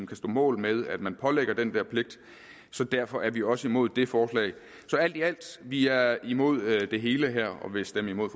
kan stå mål med at man pålægger dem den pligt derfor er vi også imod det forslag så alt i alt vi er imod det hele og vil stemme imod